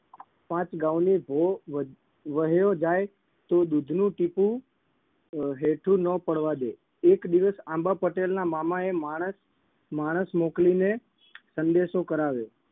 પાંચ ગાઉની ભો વ વહ્યો જાય તો દૂધનું ટીપુ અમ હેઠું ન પડવા દે એક દિવસ આંબા પટેલના મામાએ માણસ માણસ મોકલીને સંદેશો કરાવ્યો